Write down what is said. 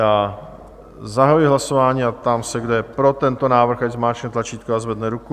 Já zahajuji hlasování a ptám se, kdo je pro tento návrh, ať zmáčkne tlačítko a zvedne ruku.